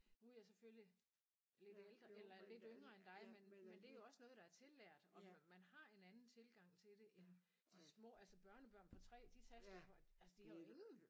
Nu er jeg selvfølgelig lidt ældre eller lidt yngre end dig men men det er jo også noget der er tillært og man har en anden tilgang til det end de små altså børnebørn på 3 de taster altså de har jo ingen